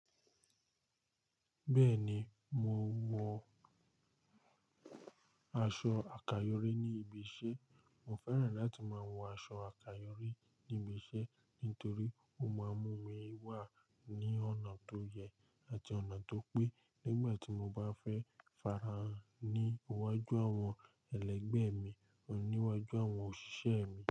Bẹ́ẹ̀ ni, mo wọ aṣọ àkàyọrí ní ibi iṣẹ́. Mo fẹ́ràn láti máa wọ aṣọ àkàyọrí ní ibi iṣẹ́ nítorí ó máa mú mi wà ní ọ̀nà tó yẹ àti ọ̀nà tó pé nígbà tí mo bá fẹ́ farahàn ní iwájú àwọn ẹlẹgbẹ́ mi àní iwájú àwọn òṣìṣẹ́ mi.